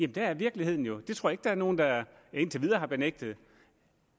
der er virkeligheden jo det tror jeg ikke der er nogen der indtil videre har benægtet